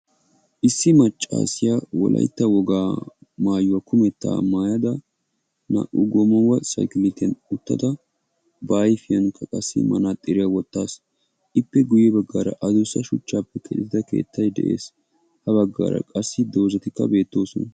Issi maccassiya wolaytta wogaa maayuwa kumettaa mayada naa"u goomawa saykilitiyan uttida ba ayfiyan issi manaaxxiriya wottaasu ippe guye baggaara addussa shuchchaappe keexettida keettay de'ees. Ha baggaara qassi doozatikka beettoosona.